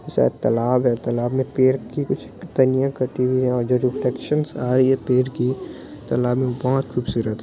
सायद तलाब है तलाब में पेड़ की कुछ टहनियाँ कटी हुई है और जो रुटेक्शन आ रही है पेड़ की तालाब में बहुत खुबसूरत--